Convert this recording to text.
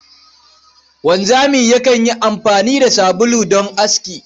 Wanzami yakan yi amfani da sabulu don aski.